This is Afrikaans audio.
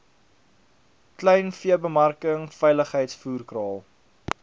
kleinveebemarking veilings voerkraal